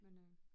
Men øh